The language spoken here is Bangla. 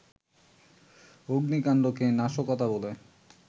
অগ্নিকাণ্ডকে নাশকতা বলে